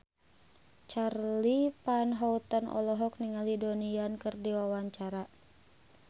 Charly Van Houten olohok ningali Donnie Yan keur diwawancara